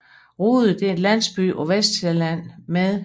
Rude er en landsby på Sydvestsjælland med